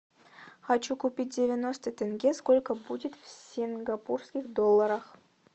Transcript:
хочу купить девяносто тенге сколько будет в сингапурских долларах